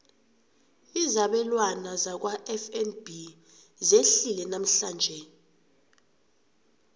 izabelwana zakwafnb zehlile namhlanje